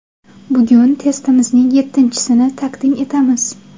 Bugun testimizning yettinchisini taqdim etamiz.